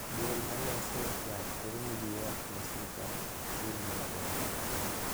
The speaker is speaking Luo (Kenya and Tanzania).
Duol ma loso yath koro ni gi ywak ne sirkal okchul gi maber